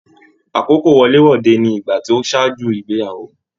Àkókò wọlé-wọdè ní ìgbà tó ṣáájú ìgbéyàwó.